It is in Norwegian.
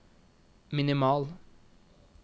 minimal